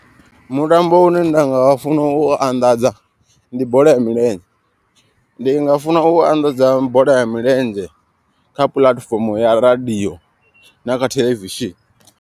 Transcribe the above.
Mutambo une nda nga funa u u anḓadza ndi bola ya milenzhe. Ndi nga funa u anḓadza bola ya milenzhe kha puḽatifomo ya radio na kha theḽevishini.